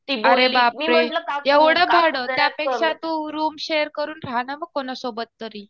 अरे बापरे एवढं भाडं. त्यापेक्षा तू रुम शेअर करून राहा ना मग कोनासोबत तरी.